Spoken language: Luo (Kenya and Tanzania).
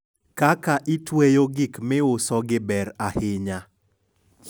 kaka itweyo gik miusogi ber ahinya